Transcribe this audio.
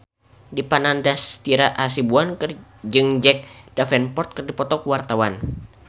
Dipa Nandastyra Hasibuan jeung Jack Davenport keur dipoto ku wartawan